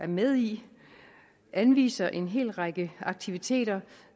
med i anviser en hel række aktiviteter